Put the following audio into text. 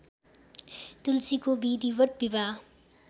तुलसीको विधिवत् विवाह